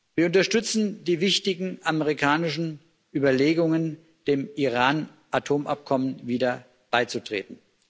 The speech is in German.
Wir unterstützen die wichtigen amerikanischen Überlegungen, dem Iran Atomabkommen wieder beizutreten.